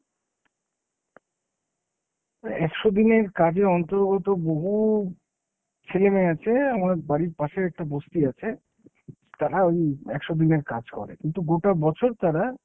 একশো দিনের কাজের অন্তর্গত বহু ছেলেমেয়ে আছে। আমার বাড়ির পাশে একটা বস্তি আছে, তারা ওই একশো দিনের কাজ করে। কিন্তু গোটা বছর তারা